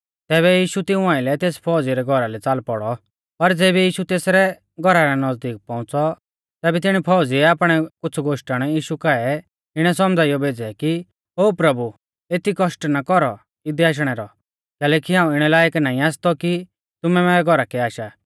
तैबै यीशु तिऊं आइलै तेस फौज़ी रै घौरा लै च़ाल पौड़ौ पर ज़ेबी यीशु तेसरै घौरा रै नज़दीक पौउंच़ौ तैबै तिणी फौज़ीऐ आपणै कुछ़ गोश्टण यीशु काऐ इणै सौमझ़ाइयौ भेज़ै कि ओ प्रभु एती कौष्ट ना कौरौ इदै आशणै रौ कैलैकि हाऊं इणै लायक नाईं आसतौ कि तुमै मैरै घौरा कै आशा